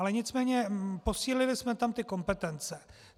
Ale nicméně posílili jsme tam ty kompetence.